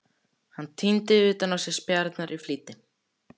Hann týndi utan á sig spjarirnar í flýti.